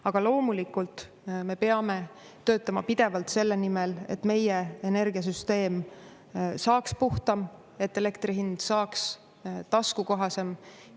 Aga loomulikult me peame töötama pidevalt selle nimel, et meie energiasüsteem saaks puhtam, et elektri hind saaks taskukohasem.